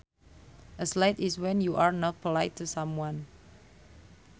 A slight is when you are not polite to someone